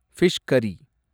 fish கரி